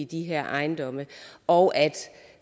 de her ejendomme og at